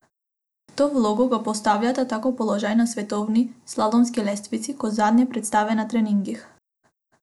V to vlogo ga postavljata tako položaj na svetovni slalomski lestvici kot zadnje predstave na treningih.